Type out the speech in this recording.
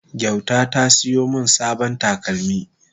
gwayta ta siyo min sabon takalmi